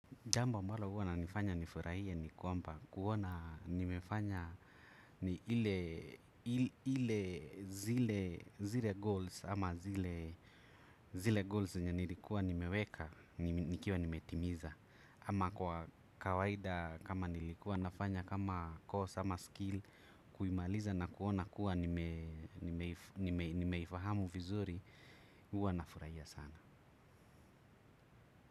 Jambo ambalo huwa inanifanya nifurahie ni kwamba kuona nimefanya ni ile zile goals ama zile goals zenye nilikuwa nimeweka nikiwa nimetimiza. Ama kwa kawaida kama nilikuwa nafanya kama course ama skill kuimaliza na kuona kuwa nimeifahamu vizuri huwa nafurahia sana.